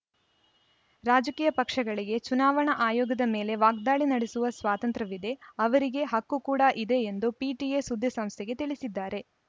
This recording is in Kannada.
ರಾಜಕೀಯ ಪಕ್ಷಗಳಿಗೆ ಚುನಾವಣಾ ಆಯೋಗದ ಮೇಲೆ ವಾಗ್ದಾಳಿ ನಡೆಸುವ ಸ್ವಾತಂತ್ರ್ಯವಿದೆ ಅವರಿಗೆ ಹಕ್ಕು ಕೂಡ ಇದೆ ಎಂದು ಪಿಟಿಐ ಸುದ್ದಿಸಂಸ್ಥೆಗೆ ತಿಳಿಸಿದ್ದಾರೆ